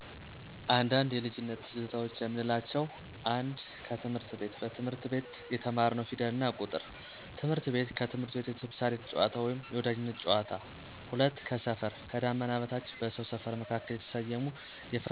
አንዳንድ የልጅነት ትዝታዎች የምንላቸው 1. ከትምህረት ቤት: በትምህርት ቤት የተማርንው ፊደልና ቁጥር። ትምህርት ቤት ከትምህርት ቤት የተምሳሌት ጨዋታ ወይም የወዳጅነት ጨዋታ። 2. ከሰፈር: ከዳመና በታች በሰው ሰፈር መካከል የተሰየሙ የፈረስ ና የእንሰሳት ድምፆች። 3. የልጅነት ጨዋታ: ማዘያ ጨዋታ አባባዬ አባባዬ ጨዋታ ቀለም ሽቦ ጨዋታ ድንጋይ ከምር ጨዋታ። 4. ጓደኞች: በአንድነት መዝናናት ችግኝ መትከል በበጎፍቃደኝነት ስራ ላይ መሳተፍ።